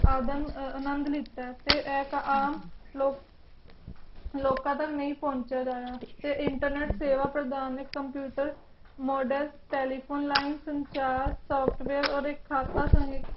ਅੱਧਾ ਨੂੰ ਅਲੱਗ ਕੀਤਾ ਫਿਏ ਆਹ ਕਹਾ ਲੋਕ ਹਮ ਲੋਕ ਤਕ ਨਾਈ ਪੌਂਚੇ ਗਏ ਫਿਰ internet ਹਮ ਸੇਵਾ ਪ੍ਰਦਾਨ ਨੇ computer model telephoneline model software ਲੀਨੇ ਸੰਚਾਰ ਸੋਫਟਵਾਰੇ ਓਦੇ ਖਾਤਾ